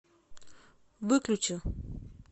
выключи